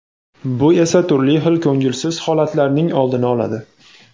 bu esa turli xil ko‘ngilsiz holatlarning oldini oladi.